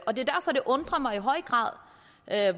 og det undrer mig i høj grad at